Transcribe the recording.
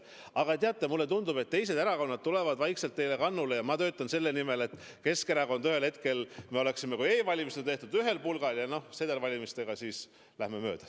Aga teate, mulle tundub, et teised erakonnad tulevad vaikselt teile kannule, ja ma töötan selle nimel, et Keskerakond oleks ühel hetkel e-valimistel teiega ühel pulgal ja sedelvalimistel siis läheme mööda.